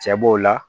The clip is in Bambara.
Cɛ b'o la